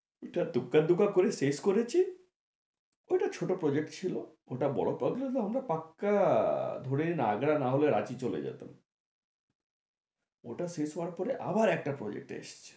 এটা দূর্গা দূর্গা করে শেষ করেছি ওটা ছোট project ছিলো, ওটা বড়ো হলে অন্তত পাক্কা ধরে নে আগ্রা না হলে রাঁচি চলে যেতাম ওটা শেষ হবার পরে আবার একটা project এসেছে